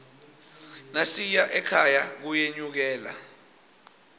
nasiya ekhaya kuyenyukela